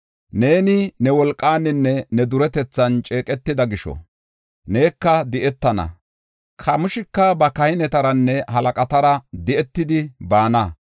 Neeni ne wolqaaninne ne duretethan ceeqetida gisho, neka di7etana. Kamooshika ba kahinetaranne halaqatara, di7etidi baana.